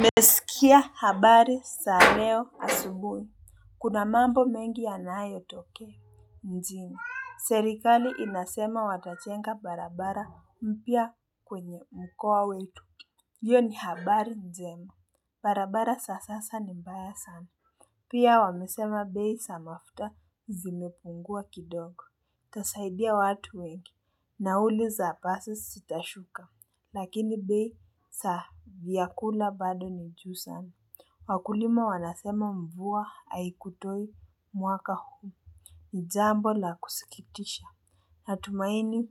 Nimesikia habari za leo asubuhi. Kuna mambo mengi yanayotokea. Mjini, serikali inasema watajenga barabara mpya kwenye mkoa wetu. Hiyo ni habari njema. Barabara za sasa ni mbaya sana. Pia wamesema bei za mafuta zimepungua kidogo. Itasaidia watu wengi. Nauli za basi zitashuka. Lakini bei za vyakula bado ni juu sana. Wakulima wanasema mvua aikutoi mwaka huu. Ni jambo la kusikitisha. Natumaini,